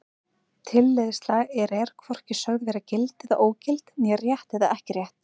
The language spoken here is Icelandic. Víkurbraut